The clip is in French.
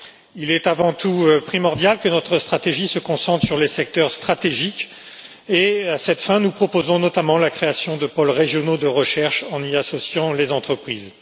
Il est avant tout primordial que notre stratégie se concentre sur les secteurs stratégiques et, à cette fin, nous proposons notamment la création de pôles régionaux de recherche en y associant les entreprises.